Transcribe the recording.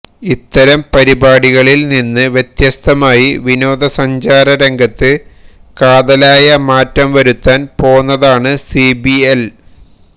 ഇത്തരം പരിപാടികളില് നിന്ന് വ്യത്യസ്തമായി വിനോദസഞ്ചാര രംഗത്ത് കാതലായ മാറ്റംവരുത്താന് പോന്നതാണ് സിബിഎല്